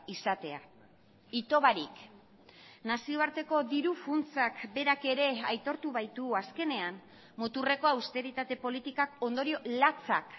izatea ito barik nazioarteko diru funtsak berak ere aitortu baitu azkenean muturreko austeritate politikak ondorio latzak